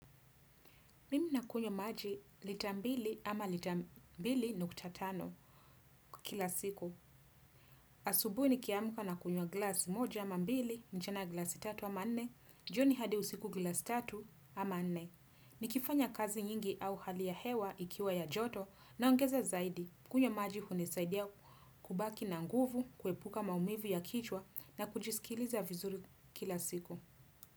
Mimi nakunywa maji lita mbili ama lita mbili nukta tano kila siku. Asubuhi nikiamka nakunywa glasi moja ama mbili, mchana glasi tatu ama nne, jioni hadi usiku glasi tatu ama nne. Nikifanya kazi nyingi au hali ya hewa ikiwa ya joto naongeza zaidi. Kunywa maji hunisaidia kubaki na nguvu, kuepuka maumivu ya kichwa na kujisikiliza vizuri kila siku.